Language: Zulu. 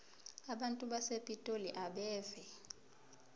abantu basepitoli abeve